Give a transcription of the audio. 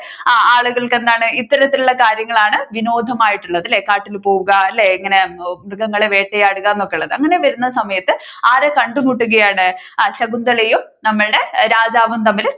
ആ ആളുകൾക്ക് എന്താണ് ഇത്തരത്തിലുള്ള കാര്യങ്ങളാണ് വിനോദമായിട്ടുള്ളതല്ലേ കാട്ടിൽ പോകുക ഇങ്ങനെ മൃഗങ്ങളെയൊക്കെ വേട്ടയാടുക എന്നൊക്കെ ഉള്ളത്